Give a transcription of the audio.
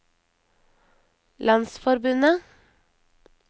landsforbundet